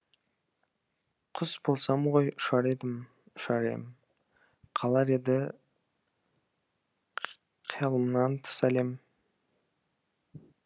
құс болсам ғой ұшар едім ұшар ем қалар еді қиялымнан тыс әлем